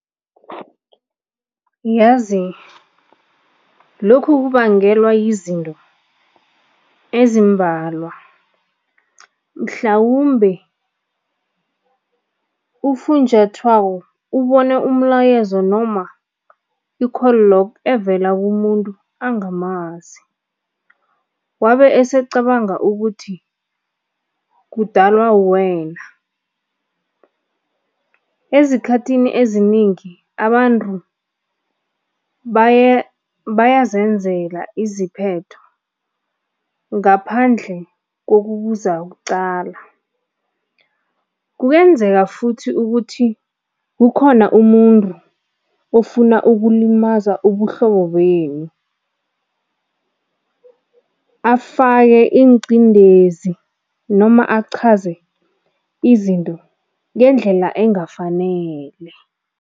Yazi lokhu kubangelwa yizinto ezimbalwa, mhlawumbe ufunjathwako ubone umlayezo i-call log evela kumuntu angamazi wabe esecabanga ukuthi kudalwa wuwena. Ezikhathini eziningi abantu bayazenzela iziphetho ngaphandle kokubuza kuqala. Kungenzeka futhi ukuthi kukhona umuntu ofuna ukulimaza ubuhlobo benu, afake ingqindezi noma achaze izinto ngendlela engafanele.